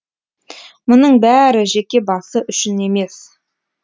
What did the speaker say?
мұның бәрі жеке басы үшін емес